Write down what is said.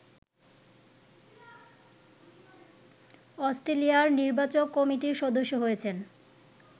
অস্ট্রেলিয়ার নির্বাচক কমিটির সদস্য হয়েছেন